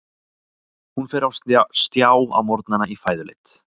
hún fer á stjá á morgnana í fæðuleit